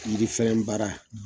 Yirifɛn baara